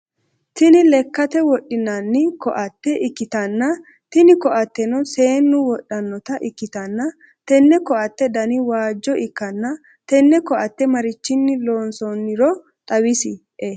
Tini lekkate wodhinano koatte ikkitanna tini koateno seennu wodhanota ikkitanna tenne koatte Dani waajjo ikkana tenne koatte marichinni loonsoiniro xawisie?